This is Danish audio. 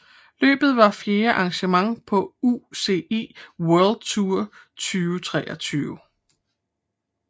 Løbet var fjerde arrangement på UCI World Tour 2023